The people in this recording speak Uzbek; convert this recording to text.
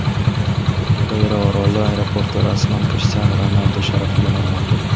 Madeyra oroli aeroporti rasman Krishtianu Ronaldu sharafiga nomlandi.